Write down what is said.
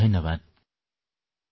ধন্যবাদ মহোদয়